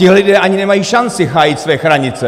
Tihle lidé ani nemají šanci hájit své hranice!